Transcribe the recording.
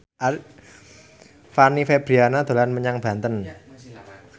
Fanny Fabriana dolan menyang Banten